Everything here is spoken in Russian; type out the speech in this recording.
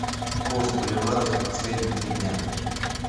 курс боливара за последние три дня